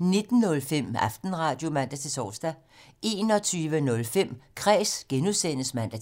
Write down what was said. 19:05: Aftenradio (man-tor) 21:05: Kræs (G) (man-tor)